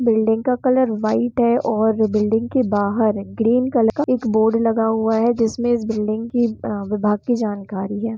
Building का colour white है और बिल्डिंग के बहार ग्रीन कलर का एक बोर्ड लगा हुआ है जिसमें इस बिल्डिंग की अ-विभाग जानकारी है।